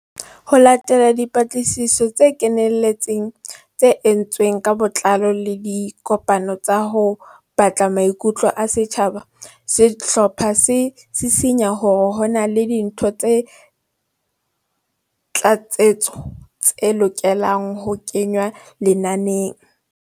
Ho latela dipatlisiso tse kenelletseng tse entsweng ka botlao le dikopano tsa ho batla maikutlo a setjhaba, sehlopha se sisinya hore ho na le dintho tsa tlatsetso tse lokelang ho kengwa lenaneng.